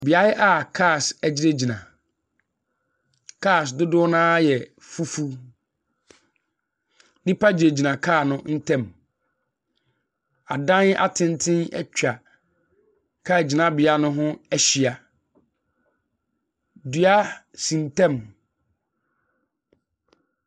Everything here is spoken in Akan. Beaeɛ carss agyinagyin. Cars dodoɔ no ara yɛ fufuw. Nnipa gyinagyin car no ntam. Adan atenten atwa car gyinabea no ho ahyia. Dua si ntam.